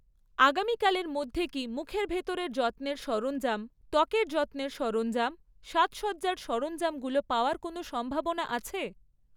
আগামীকালের মধ্যে কি মুখের ভেতরের যত্নের সরঞ্জাম, ত্বকের যত্নের সরঞ্জাম, সাজসজ্জার সরঞ্জামগুলো পাওয়ার কোনও সম্ভাবনা আছে?